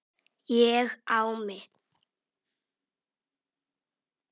Ég á mitt.